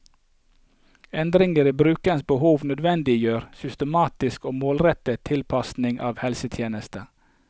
Endringer i brukernes behov nødvendiggjør systematisk og målrettet tilpasning av helsetjenester.